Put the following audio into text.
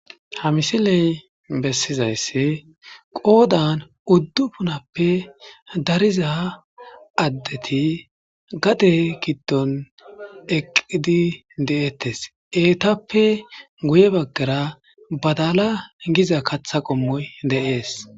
ha misiley bessizaysse qoodan uddu punappe dariza addeti gade giddon eqqidi de7ettes eetappe guye baggara badala giza katha qommoy de7ees